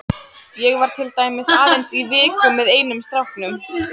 Ég var til dæmis aðeins í viku með einum stráknum.